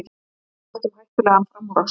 Töluvert um hættulegan framúrakstur